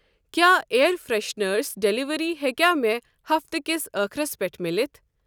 کیٛاہ air fresheners delivery ہیٚکیٛہ مےٚ ہفتہٕ کِس أخرَس پٮ۪ٹھ ملتھ؟